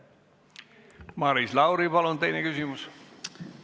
Maris Lauri, palun teine küsimus!